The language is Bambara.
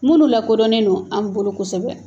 Munnu lakodɔnnen don an bolo kosɛbɛ